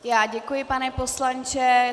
Já děkuji, pane poslanče.